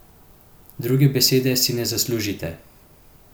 Druge besede si ne zaslužite.